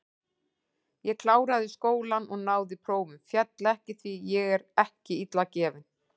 Ég kláraði skólann og náði prófum, féll ekki, því ég er ekki illa gefinn.